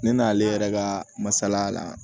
Ne n'ale yɛrɛ ka masala